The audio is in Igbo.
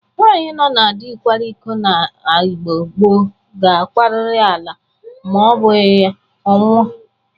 Nwaanyị nọ na dị kwara iko n'Igbo gboo ga-akwarịrị ala ma ọ bụghị ọ nwọ.